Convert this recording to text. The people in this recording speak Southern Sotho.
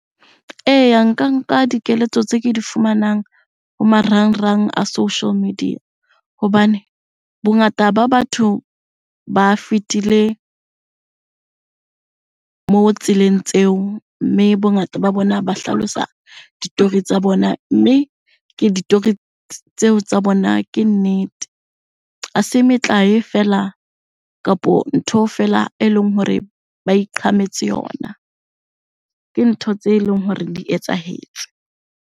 Eya, nka nka dikeletso tse ke di fumanang ho marangrang a social media, hobane bongata ba batho ba fetile moo tseleng tseo. Mme bongata ba bona ba hlalosa ditori tsa bona, mme ke ditori tseo tsa bona ke nnete. Ha se metlae feela kapo ntho fela e leng hore ba iqhametse yona, ke ntho tse leng hore di etsahetse.